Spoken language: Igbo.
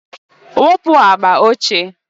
wupu agba ochie!